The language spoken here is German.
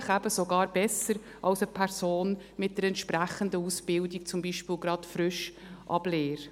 Vielleicht eben sogar besser, als eine Person mit der entsprechenden Ausbildung, zum Beispiel gerade frisch ab Lehre.